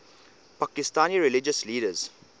pakistani religious leaders